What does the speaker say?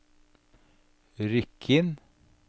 Rykkinn